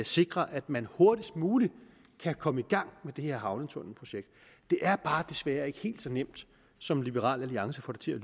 sikre at man hurtigst muligt kan komme i gang med det her havnetunnelprojekt det er bare desværre ikke helt så nemt som liberal alliance får det til at